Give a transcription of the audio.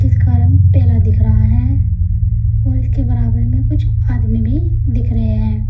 का रंग पेला दिख रहा है और इसके बराबर में कुछ आदमी भी दिख रहे हैं।